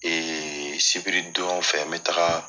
sibiri don fɛ n bɛ taga